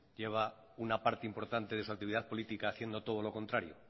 lleva una parte importante de su actividad política haciendo todo lo contrario